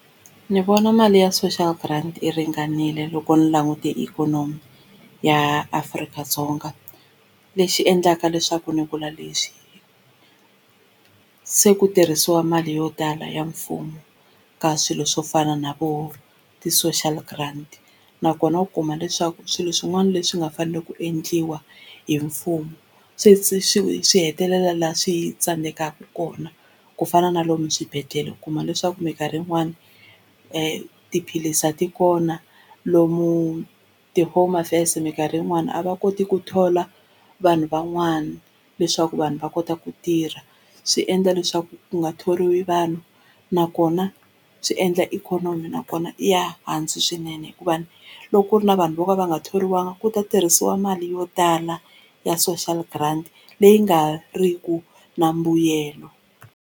Ni vona mali ya social grant yi ringanile loko ni langutile ikhonomi ya Afrika-Dzonga, lexi endlaka leswaku ni vula lexi se ku tirhisiwa mali yo tala ya mfumo ka swilo swo fana na vo ti-social grant nakona u kuma leswaku swilo swin'wana leswi nga faneleke ku endliwa hi mfumo swi swi swi swi hetelela laha swi tsandzekaka kona, kufana na lomu swibedhlele u kuma leswaku mikarhi yin'wani tiphilisi a ti kona lomu ti-home affairs mikarhi yin'wani a va koti ku thola vanhu van'wana leswaku vanhu va kota ku tirha swi endla leswaku ku nga thoriwi vanhu, nakona swi endla ikhonomi nakona yi ya hansi swinene hikuva loko ku ri na vanhu vo ka va nga thoriwanga ku ta tirhisiwa mali yo tala ya social grant leyi nga riki na mbuyelo.